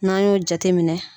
N'an y'o jate minɛ.